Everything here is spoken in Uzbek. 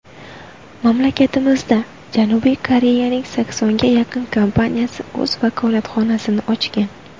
Mamlakatimizda Janubiy Koreyaning saksonga yaqin kompaniyasi o‘z vakolatxonasini ochgan.